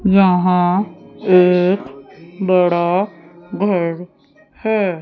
यहां एक बड़ा घर है।